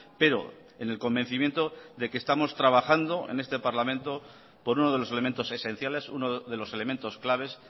pero en el convencimiento de que estamos trabajando en este parlamento por uno de los elementos esenciales uno de los elementos claves